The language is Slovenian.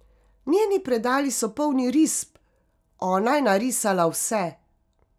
Njeni predali so polni risb, ona je narisala vse.